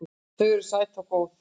Þau eru sæt og góð.